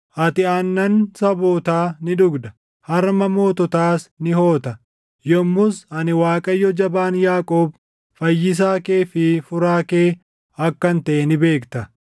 Ati aannan sabootaa ni dhugda; harma moototaas ni hoota. Yommus ani Waaqayyo Jabaan Yaaqoob, Fayyisaa kee fi Furaa kee akkan taʼe ni beekta.